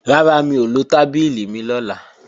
Rárá, mi ò lo tábìlì mi lọ́la